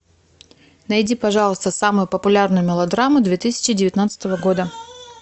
найди пожалуйста самую популярную мелодраму две тысячи девятнадцатого года